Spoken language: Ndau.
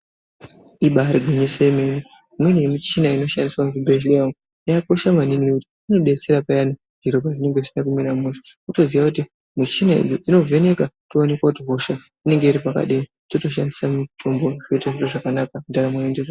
Ibaari gwinyise yemene, imweni yemichina inoshandiswe muzvibhedhleya umu yakakosha maningi ngekuti inodetsera payani zviro pazvinenge zvisina kumira mushe. Wotoziya kuti muchina idzi dzinovheneka, kuonekwe kuti hosha inonga iri pakadini, totoshandisa mutombo toitirwe zvakanaka, ndaramo yotoende mberi.